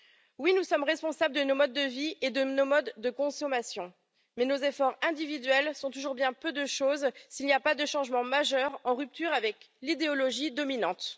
Oui, nous sommes responsables de nos modes de vie et de nos modes de consommation, mais nos efforts individuels sont toujours bien peu de choses s'il n'y a pas de changement majeur en rupture avec l'idéologie dominante.